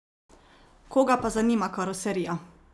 Koga pa zanima karoserija?